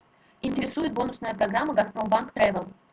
интересует бонусная программа газпромбанк тревел